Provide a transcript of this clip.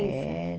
era.